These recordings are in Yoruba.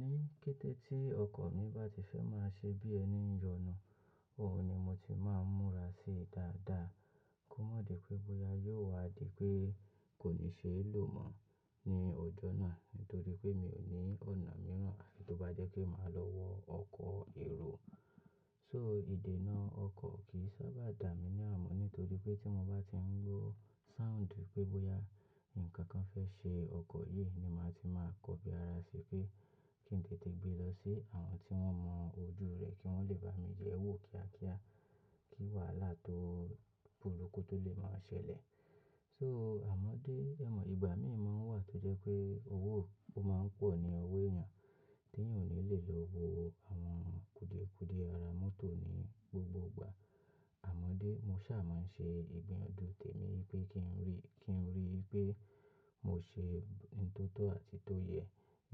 Ní kété tí ọkọ̀ mi bá ti fẹ́ máa ṣe bí ẹni ń yọnu, òun ni mo ti máa ń múra sí dáadáa. Kó má di pé bóyá yóò wá di pé kò ní ṣeé lò mọ́ ní ọjọ́ náà nítorí pé mi ò ní ọ̀nà mìíràn àfi tó bá jẹ́ pé màá lọ wọ ọkọ̀ èrò. So ìdènà ọkọ̀ kì í sábà dà mí ní àmú nítorí pé tí mo bá ti ń gbọ́ sound pé bóyá nǹkan kan fẹ́ ṣe ọkọ̀ yìí ni màá ti máa kọbi ara ṣe pé kí n tètè gbé lọ sí àwọn tí wọ́n mọ ojú rẹ̀ kí wọ́n lè bá mi yẹ̀ ẹ́ wò kíákíá kí wàhálà to burúkú tó lè máa ṣẹlẹ̀. So àmọ́ dé, ẹ̀mọ̀, ìgbà míì máa ń wà tó jẹ́ pé owó ó máa ń pọ̀ ní ọwọ́ èèyàn tí èèyàn ò ní lè lọ wo àwọn kúdiekúdie ara mọ́tò ní gbogbo ìgbà. Àmọ́dé, mo ṣà máa ń ṣe ìgbiyànjú tèmi pé kí n rí, kí n rí pé mo ṣe ohun tó tọ́ àti tó yẹ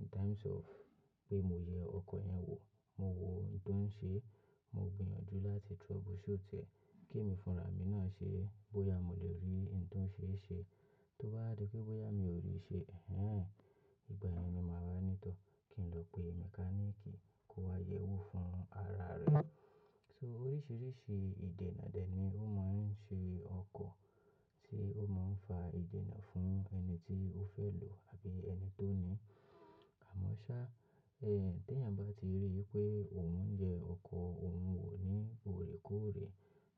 in times of pé mo yẹ ọkọ̀ yẹn wò, mo wo ohun tó ń ṣe, mo gbìyànjú láti trouble shoot ẹ. Kí èmi fúnra mi náà ṣe bóyá mo lè rí ohun tó ń ṣe é ṣe. Tó bá di pé bóyá mi ò rí ṣe, ẹ̀n ehn!, ìgbà yẹn ni màá wa ní tọ́ kí n lọ pe mẹkáníìkì kó wá yẹ̀ ẹ́ wò fún ara rẹ̀. So oríṣiríṣi ìdènà dè ni ó máa ń ṣe ọkọ̀ tí ó máa ń fa ìdènà fún ẹni tí ó fẹ́ lò àbí ẹni tó ní. Àmọ́ ṣá, tí èèyàn bá ti rí i pé òun yẹ ọkọ̀ òun wò ní òrè kóòrè,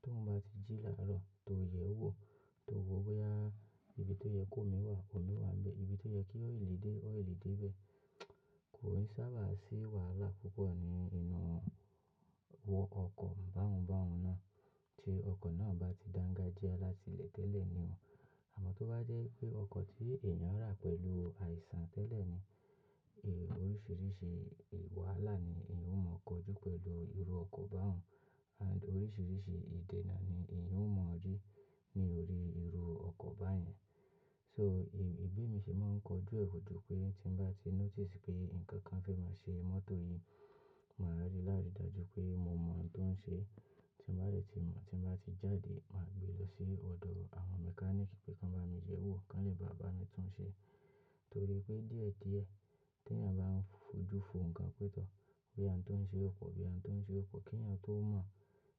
tó ń bá ti jí làárọ̀ tó yẹ ẹ́ wò, tó wo bóyá ibi tó yẹ kó omi wà, omi wà ń bẹ́, ibi tó yẹ kí oil dé, oil dé bẹ́, kò ní sábà sí wàhálà púpọ̀ ní inú ọkọ̀ báhun báhun náà tí ọkọ̀ náà bá ti dáńgájíá láti ilẹ̀ tẹ́lẹ̀ ni o. Àmọ́ tó bá jẹ́ pé ọkọ̀ tí èèyàn rà pẹ̀lú àìsàn tẹ́lẹ̀ ni, oríṣiríṣi wàhálà ni èèyàn ó mọ̀ kọjú pẹ̀lú irú ọkọ̀ báhun and oríṣiríṣi ìdènà ni èèyàn ó mọ̀ rí ní orí irú ọkọ̀ báyẹn. So bi emi se máa ń kọjú ẹ̀ o jú pé tí bá ti notice pé nǹkan kan fẹ́ máa ṣe mọ́tò yìí, màá rí láàrín dàjú pé mo mọ ohun tó ń ṣe. Tí bá rẹ̀ ti mọ̀, tí bá ti jáde, màá gbé lọ sí ọ̀dọ̀ àwọn mẹkáníìkì pé kí wọ́n bá mi yẹ̀ ẹ́ wò kí wọ́n lè bá bàá mi tún un ṣe. Torí pé díẹ̀ díẹ̀ tí èèyàn bá ń fojú fo nǹkan pé tọ̀ boya oun tó ń ṣe o po boya oun tó ń ṣe o po, kí èèyàn tó mọ̀,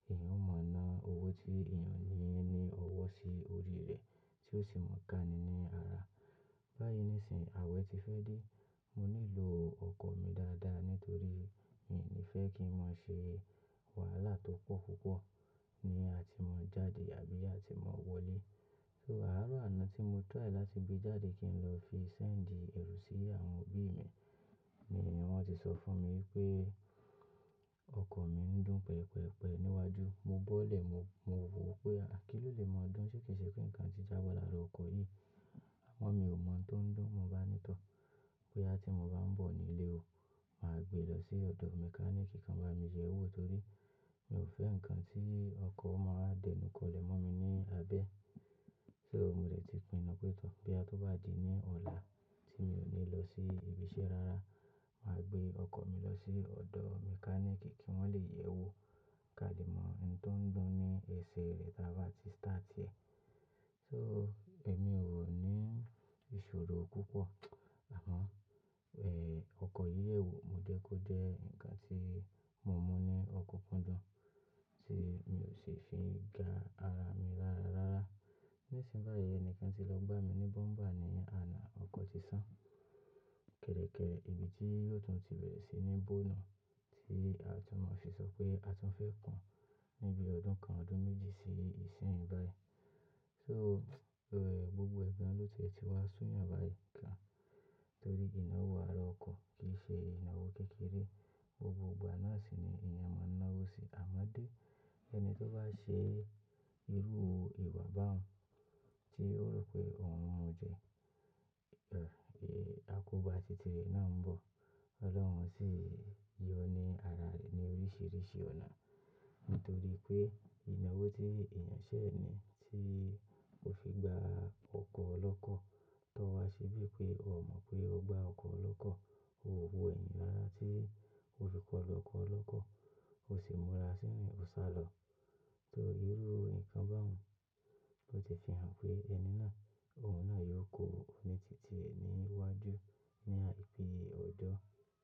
èèyàn ó mọ̀ ná owó tí èèyàn ní ní ọwọ́ sí orí rẹ̀ tí ó sì mọ̀ ká ni ní ara. Báyìí nísìnyìí, àwẹ̀ ti fẹ́ dé, mo nílò ọkọ̀ mi dáadáa nítorí mi ní fẹ́ kí n má ṣe wàhálà tó pọ̀ púpọ̀ ní àti máa jáde àbí àti máa wọlé. So àárọ̀ àná tí mo try láti gbé jáde kí n lọ fi send èrò sí àwọn òbí mi ni wọ́n ti sọ fún mi pé ọkọ̀ mi ń dùn pẹ̀pẹ̀pẹ̀ níwájú. Mo bọ́lẹ̀, mo wo pé kí ló lè máa dùn ṣé kì í ṣe pé nǹkan ti jábọ̀ lára ọkọ̀ yìí. Àmọ́ mi ò mọ̀ ohun tó ń dùn, mo bá ní tọ́ boya tí mo bá ń bọ̀ nílé o, màá gbé lọ sí ọ̀dọ̀ mẹkáníìkì kan bá mi yẹ̀ ẹ́ wò torí mi ò fẹ́ nǹkan tí ọkọ̀ o máa dẹnukọlẹ̀ mọ́ mi ní abẹ́. So mo dẹ̀ ti pinnu pé tọ̀ boya tó bá di ní ọ̀la tí mi ò ní lọ sí ibi iṣẹ́ rárá, màá gbé ọkọ̀ mi lọ sí ọ̀dọ̀ mẹkáníìkì kí wọ́n lè yẹ̀ ẹ́ wò ká le mọ ohun tó ń dùn ní ẹsẹ̀ rẹ̀ táa bá ti start ẹ. So èmi ò ní ìṣòro púpọ̀ àmọ́, ọkọ̀ yìí ò, mo jẹ́ kó jẹ́ nǹkan tí mo mu ní ọkukúndùn tí mi ò sì fi ga ara mi rárá. Nísìnyìí báyìí ẹni kan ti lọ gbá mi ní bọ́mbà ní àná, ọkọ̀ ti sán. Kẹ̀ẹ̀rekẹ́re ibi tí yóò tún ti bẹ̀rẹ̀ sí ní bó nun tí a tún máa fi sọ pé a tún fẹ́ kun ní bi ọdún kan ọdún méjì sí ìsínyi báyìí. So, gbogbo ẹgbọn ló tiẹ̀ ti wá sún yàn báyìí gan torí ináwò ara ọkọ̀ kì í ṣe ináwò kékeré. Gbogbo ìgbà náà sì ni èèyàn máa ń ná owó sí. Àmọ́dé ẹni tó bá ṣe irú ìwà báhun tí ó rọ pé òun mu jẹ, akobà tìtì re náà ń bọ̀. Ọlọ́run sì yọ ní ara rẹ̀ ní oríṣiríṣi ọ̀nà nítorí pé ináwò tí èèyàn ṣẹ̀ ni tí ó fi gba ọkọ̀ lọ́kọ̀ tó wá se bí pé o mọ̀ pé o gba ọkọ̀ olọ́kọ̀, o wo ẹyin rárá tí ó fi kọ́lu ọkọ̀ olọ́kọ̀, o sì múra sí ìrìn ọ̀sálọ. Torí irú nǹkan báhun ló ti fi hàn pé ẹni náà, òun náà yóò kó oní tìtì níwájú ní àìpé ọ̀jọ́.